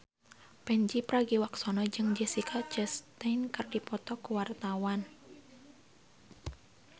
Pandji Pragiwaksono jeung Jessica Chastain keur dipoto ku wartawan